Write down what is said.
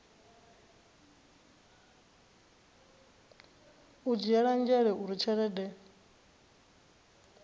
u dzhielwa nzhele uri tshelede